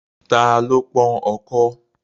Ta ló pọ́n ọkọ́?